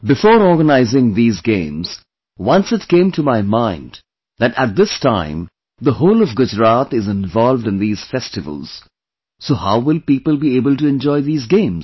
Before organizing these games, once it came to my mind that at this time the whole of Gujarat is involved in these festivals, so how will people be able to enjoy these games